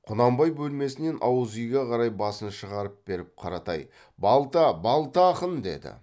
құнанбай бөлмесінен ауызүйге қарай басын шығара беріп қаратай балта балта ақын деді